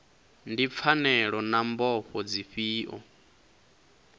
ndi pfanelo na mbofho dzifhio